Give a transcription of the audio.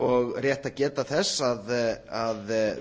og rétt að geta þess að